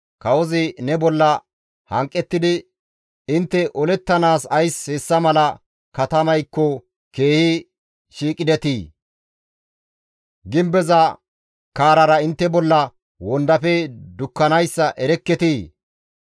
Kawozi ne bolla hanqettidi, ‹Intte olettanaas ays hessa mala katamaykko keehi shiiqidetii? Gimbeza kaarara intte bolla wondafe dukkanayssa erekketii?